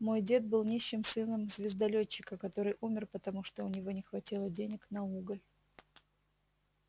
мой дед был нищим сыном звездолётчика который умер потому что у него не хватило денег на уголь